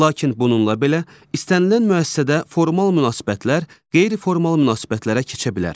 Lakin bununla belə, istənilən müəssisədə formal münasibətlər qeyri-formal münasibətlərə keçə bilər.